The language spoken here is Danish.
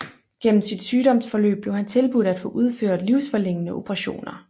Gennem sit sygdomsforløb blev han tilbudt at få udført livsforlængende operationer